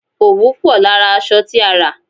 Òwú pò lára aṣọ tí a rà.